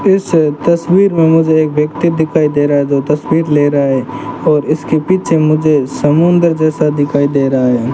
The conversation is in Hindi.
इस तस्वीर में मुझे एक व्यक्ति दिखाई दे रहा है तो तस्वीर ले रहा है और इसके पीछे मुझे समुद्र जैसा दिखाई दे रहा है।